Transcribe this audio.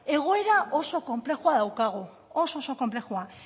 egoera oso konplexua daukagu oso oso konplexua